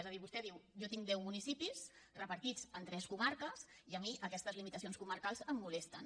és a dir vostè diu jo tinc deu municipis repartits en tres comarques i a mi aquestes limitacions comarcals em molesten